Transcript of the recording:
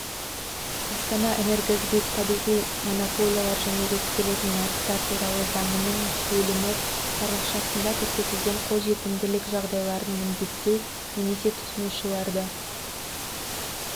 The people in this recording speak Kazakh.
астанаэнергосбыт табиғи монополиялар және реттелетін нарықтар туралы заңының бөлімі тармақшасында көрсетілген қолжетімділік жағдайларын міндеттеу немесе тұтынушыларды